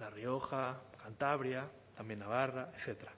la rioja cantabria también navarra etcétera